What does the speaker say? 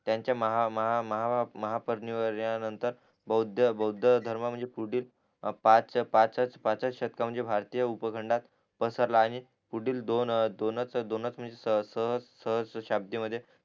आणि त्याचे महा महा महा महा महापरिवर्ण ना नंतर भौध बौद्ध धर्म म्हणजे पुढील पा पाच पाचच शतका म्हणजे भारतीय उपखंडात पसरला आणि दोन दोनच दोनच